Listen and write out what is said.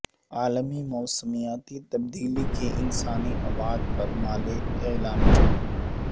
عالمی موسمیاتی تبدیلی کی انسانی ابعاد پر مالے اعلامیہ